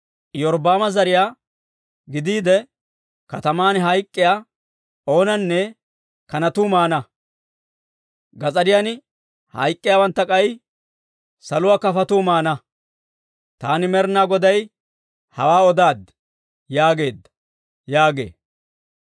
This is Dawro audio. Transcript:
Iyorbbaama zariyaa gidiide kataman hayk'k'iyaa oonanne kanatuu maana; gas'ariyan hayk'k'iyaawantta k'ay saluwaa kafotuu maana. Taani Med'inaa Goday hawaa odaaddi!» yaageedda› yaaga.